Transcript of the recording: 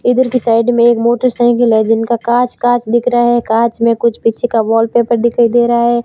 इधर की साइड में एक मोटरसाइकिल है जिनका कांच कांच दिख रहा है कांच में कुछ पीछे का वॉलपेपर दिखाई दे रहा है।